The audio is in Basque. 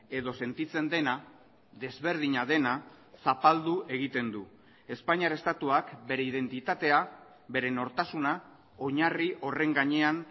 edo sentitzen dena desberdina dena zapaldu egiten du espainiar estatuak bere identitatea bere nortasuna oinarri horren gainean